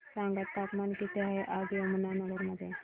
सांगा तापमान किती आहे आज यमुनानगर मध्ये